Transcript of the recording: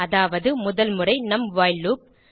அதாவது முதல் முறை நம் வைல் லூப்